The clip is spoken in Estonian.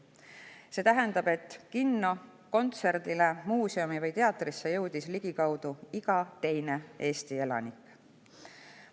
See tähendab, et kinno, kontserdile, muuseumisse või teatrisse jõudis ligikaudu iga teine Eesti elanik.